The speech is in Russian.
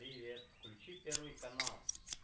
привет включи первый канал